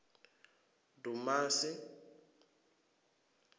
dumasi